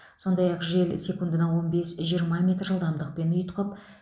сондай ақ жел секундына он бес жиырма жылдамдықпен ұйтқып